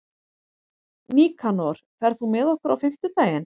Nikanor, ferð þú með okkur á fimmtudaginn?